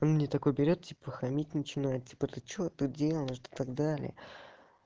мне такой берет типа хамить начинает типа ты что-то делаешь да так далее